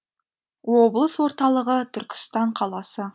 облыс орталығы түркістан қаласы